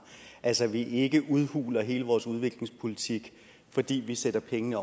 altså at vi ikke udhuler hele vores udviklingspolitik fordi vi sætter pengene